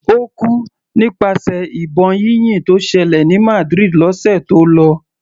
Ó kú nípasẹ̀ ìbọn yínyìn tó ṣẹlẹ̀ ní Madrid lọ́sẹ̀ tó lọ.